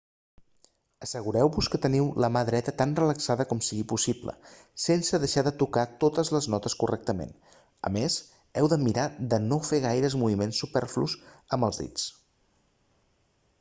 assegureu-vos que teniu la mà dreta tan relaxada com sigui possible sense deixar de tocar totes les notes correctament a més heu de mirar de no fer gaires moviments superflus amb els dits